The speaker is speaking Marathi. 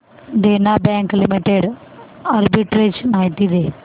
देना बँक लिमिटेड आर्बिट्रेज माहिती दे